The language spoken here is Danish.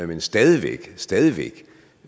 men stadig stadig væk